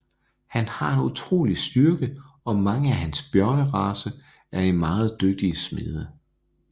Han har en utrolig styrke og mange af hans bjørnerace er meget dygtige smede